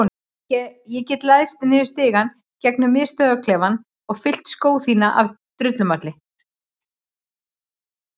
Ég get læðst niður stigann gegnum miðstöðvarklefann og fyllt skó þína af drullumalli.